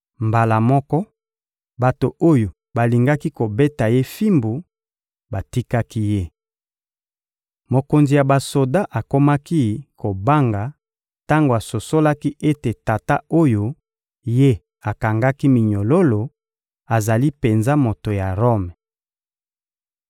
Mbala moko, bato oyo balingaki kobeta ye fimbu batikaki ye. Mokonzi ya basoda akomaki kobanga tango asosolaki ete tata oyo ye akangaki minyololo azali penza moto ya Rome.